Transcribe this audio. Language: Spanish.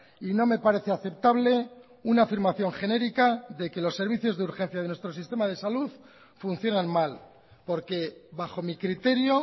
y no me parece aceptable una afirmación genérica de que los servicios de urgencia de nuestro sistema de salud funcionan mal porque bajo mi criterio